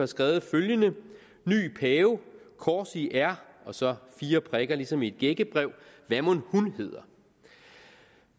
skrevet følgende ny pave kors i r altså fire prikker ligesom i et gækkebrev hvad mon hun hedder